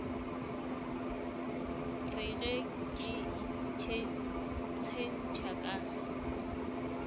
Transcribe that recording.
re ge ke itshetšha ka